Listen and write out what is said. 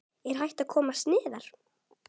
Er hægt að komast neðar?